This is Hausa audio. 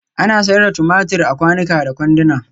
Ana sayar da tumatur a kwanuka da kwanduna